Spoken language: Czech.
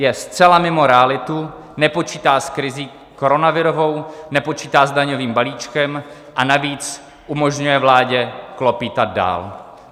Je zcela mimo realitu, nepočítá s krizí koronavirovou, nepočítá s daňovým balíčkem a navíc umožňuje vládě klopýtat dál.